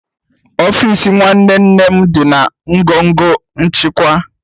Ọfịs nwanne nna m dị na ngọngọ nchịkwa